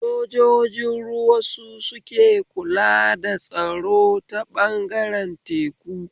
Sojojin ruwa su suke kula da tsaro ta ɓangaren teku